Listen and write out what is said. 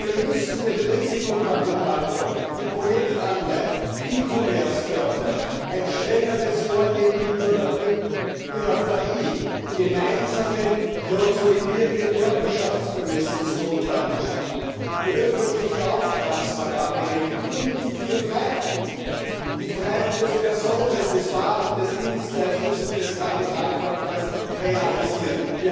Wir müssen den Risikokapitalfonds, die Projektanleihen und den E Commerce fördern, strenger gegen Piraterie vorgehen, gemeinsame konsolidierte Körperschaftsbemessungsgrundlagen schaffen, die öffentliche Auftragsvergabe regeln und die vier Freiheiten die Freiheit des Personen des Waren des Dienstleistungs und des Kapitalverkehrs realisieren.